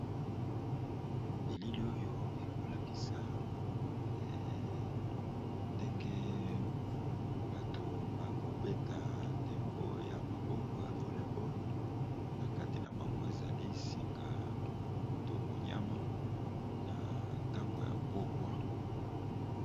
Elili oyo ekolakisa ndenge bato bazo beta ndembo ya maboko ya vole boll nakati nabango ezali monyama eza na tango ya pokwa.